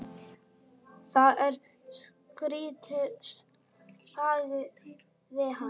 Það er skrýtið sagði hann.